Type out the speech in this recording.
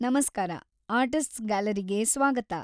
ನಮಸ್ಕಾರ, ಆರ್ಟಿಸ್ಟ್ಸ್‌ ಗ್ಯಾಲರಿಗೆ ಸ್ವಾಗತ.